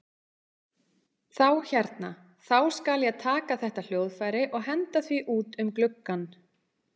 Þá hérna. þá skal ég taka þetta hljóðfæri og henda því út um gluggann!